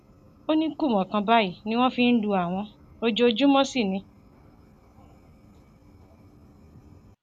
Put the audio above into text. ó ní kùmọ kan báyìí ni wọn fi ń lu àwọn ojoojúmọ sí ni